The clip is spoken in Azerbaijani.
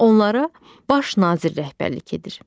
Onlara Baş nazir rəhbərlik edir.